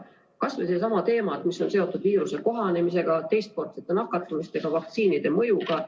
Kas või seesama teema, mis on seotud viiruse kohanemisega, teistkordsete nakatumistega, vaktsiinide mõjuga.